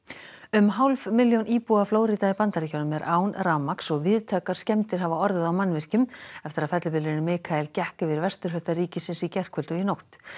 um hálf milljón íbúa Flórída í Bandaríkjunum er án rafmagns og víðtækar skemmdir hafa orðið á mannvirkjum eftir að fellibylurinn Mikael gekk yfir vesturhluta ríkisins í gærkvöld og nótt